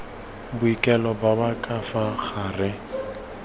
boikuelo ba ka fa gare